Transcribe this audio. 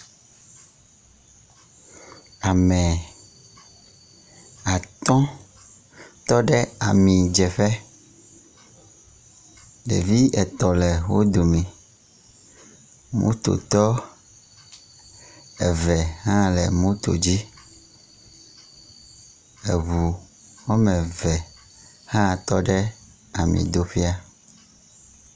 Ame atɔ̃ tɔ ɖe amidzeƒe. Ɖevi etɔ̃ le wo dome. Mototɔ eve hã le moto dzi. Eŋu woame eve hã tɔ ɖe amidoƒea.